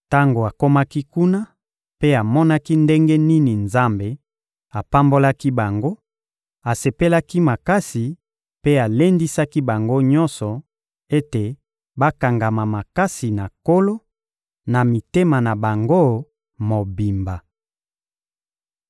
Tango akomaki kuna mpe amonaki ndenge nini Nzambe apambolaki bango, asepelaki makasi mpe alendisaki bango nyonso ete bakangama makasi na Nkolo, na mitema na bango mobimba.